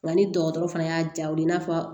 Nka ni dɔgɔtɔrɔ fana y'a ja u ye i n'a fɔ